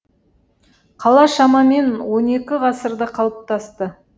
қала шамамен он екі ғасырда қалыптасты